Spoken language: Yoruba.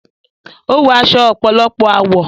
Ó wọ aṣọ ọ̀pọ̀lọpọ̀ àwọ̀.